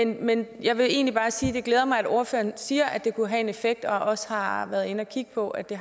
men jeg vil egentlig bare sige at det glæder mig at ordføreren siger at det kunne have en effekt og også har været inde at kigge på at det